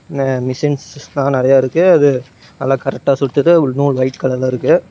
ஆ மிஷின்ஸ்லா நெறையா இருக்கு அது எல்லா கரெக்டா சுத்துது நூல் ஒயிட் கலர்ல இருக்கு.